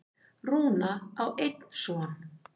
Rúna á einn son.